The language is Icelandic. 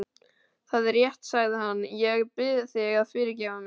Það er rétt, sagði hann,-ég bið þig að fyrirgefa mér.